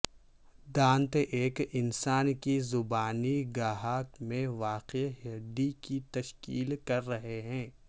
دانت ایک انسان کی زبانی گہا میں واقع ہڈی کی تشکیل کر رہے ہیں